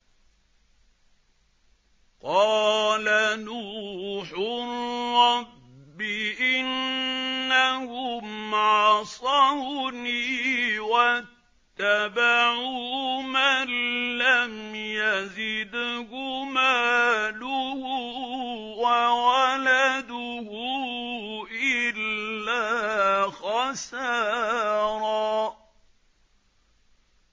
قَالَ نُوحٌ رَّبِّ إِنَّهُمْ عَصَوْنِي وَاتَّبَعُوا مَن لَّمْ يَزِدْهُ مَالُهُ وَوَلَدُهُ إِلَّا خَسَارًا